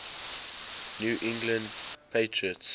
new england patriots